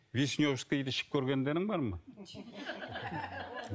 вишневскийді ішіп көргендерің бар ма